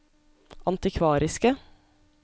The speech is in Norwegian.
antikvariske